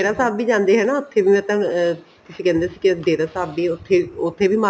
ਡੇਰਾ ਸਾਹਬ ਵੀ ਜਾਂਦੇ ਹੈ ਨਾ ਉੱਥੇ ਵੀ ਮੈਂ ਤੁਹਾਨੂੰ ਤੁਸੀਂ ਕਹਿੰਦੇ ਸੀ ਕੀ ਡੇਰਾ ਸਾਹਬ ਵੀ ਉੱਥੇ ਵੀ ਉੱਥੇ ਵੀ